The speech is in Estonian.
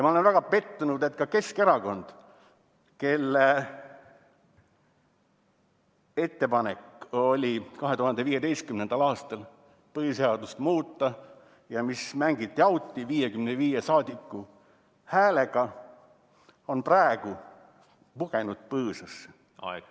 Ma olen väga pettunud, et ka Keskerakond, kelle ettepanek 2015. aastal oli põhiseadust muuta, mis mängiti auti 55 saadiku häälega, on praegu pugenud põõsasse.